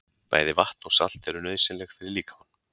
Bæði vatn og salt eru nauðsynleg fyrir líkamann.